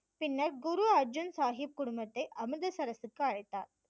பின்னர் குரு அர்ஜன் சாஹிப் குடும்பத்தை அமிர்தசரசுக்கு அழைத்தார்